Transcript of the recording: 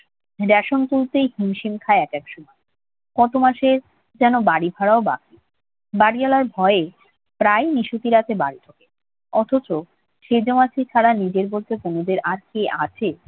বেসন কিনতেই হিমশিম খায় একেক সময়। কত মাসের যেন বাড়ি ভাড়াও বাকি। বাড়িওয়ালার ভয়ে প্রায়ই নিশুতিরাতে বাড়ি ঢোকে। অথচ সেজো মাসি ছাড়া নিজের বলতে তনুদের আর কে আছে